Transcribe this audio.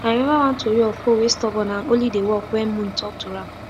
i remember one tori of hoe wey stubborn and only dey work when moon talk to am